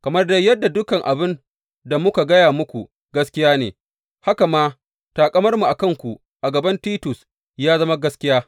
Kamar dai yadda dukan abin da muka gaya muku gaskiya ne, haka ma taƙamarmu a kanku a gaban Titus ya zama gaskiya.